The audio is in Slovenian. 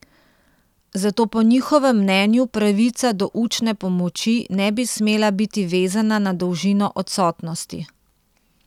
Zato po njihovem mnenju pravica do učne pomoči ne bi smela biti vezana na dolžino odsotnosti.